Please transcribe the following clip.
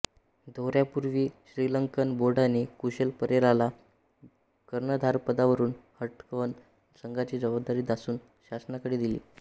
दौऱ्यापूर्वी Sri Lankan बोर्डाने कुशल परेराला कर्णधारपदावरून हटवत संघाची जवाबदारी दासून शनाकाकडे दिली